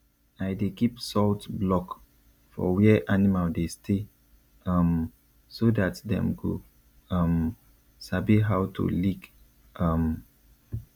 i dey keep salt block for where animal dey stay um so dat dem go um sabi how to lick um